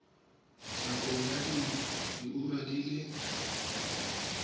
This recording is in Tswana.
nakong ya diura di le